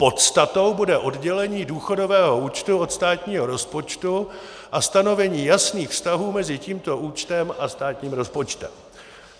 Podstatou bude oddělení důchodového účtu od státního rozpočtu a stanovení jasných vztahů mezi tímto účtem a státním rozpočtem.